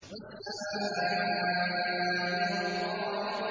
وَالسَّمَاءِ وَالطَّارِقِ